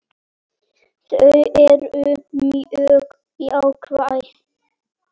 Þau eru mjög jákvæð.